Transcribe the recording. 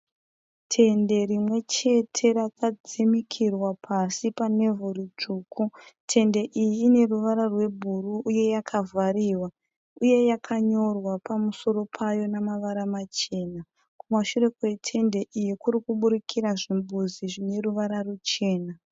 Tende rimwechete rakadzimikirwa pasi panevhu ritsvuku. Tende iyi ine ruvara rwebhuruu uye yakavhariwa uye yakanyorwa pamusoro payo navara machena. Kumashure kwetende iyi kuri kubudikira zvimbuzi zvine ruvara ruchena.